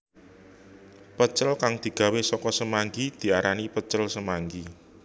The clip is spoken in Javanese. Pecel kang digawé saka semanggi diarani pecel semanggi